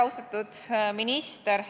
Austatud minister!